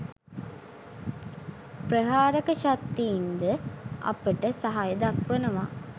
ප්‍රහාරක ශක්තින් ද අපට සහය දක්වනවා.